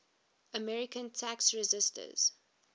american tax resisters